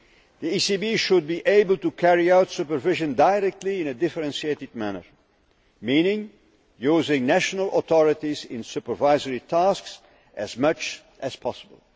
The ECB should be able to carry out supervision directly in a differentiated manner, meaning using national authorities in supervisory tasks as much as possible.